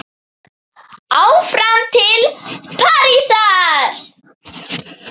Áfram til Parísar